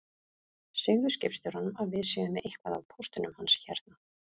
Segðu skipstjóranum að við séum með eitthvað af póstinum hans hérna